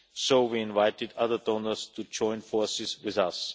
So we have invited other donors to join forces with